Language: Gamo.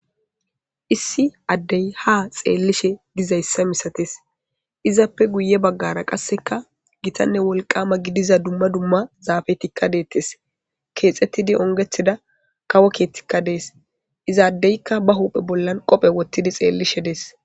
issi addey ha xeellishe dizayssa misates izappe guye baggara qasseka gitanne wolqama gidiza dumma dumma zaafetikka deettes keexettidi ongethida kawo keethtikka dees izaaddeykka ba huphe bollan qophe wottidi xeellishe dees